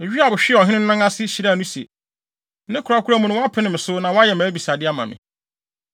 Yoab hwee ɔhene no nan ase, hyiraa no se, “Ne korakora mu no, woapene me so, na woayɛ mʼabisade ama me.”